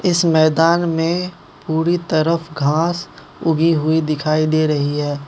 इस मैदान में पूरी तरफ घांस उगी हुई दिखाई दे रही है।